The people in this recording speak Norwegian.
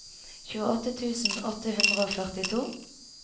tjueåtte tusen åtte hundre og førtito